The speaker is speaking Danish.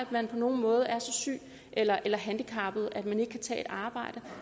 man på nogen måde er så syg eller eller handicappet at man ikke kan tage et arbejde